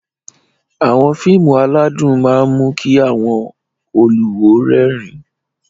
Àwọn fíìmù aládùn máa ń mú kí àwọn olùwò rẹ́rìn-ín